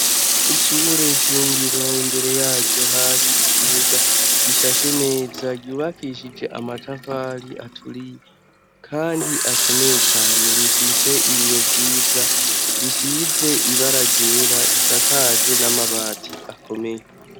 Ishyure shingiro imbere yaryo hari ikibuga gishashe neza gyubakishije amatafari aturiye, kandi akomeye cane rifise ibiyo vyiza risize ibaragera risakajwe n'amabati akomeye.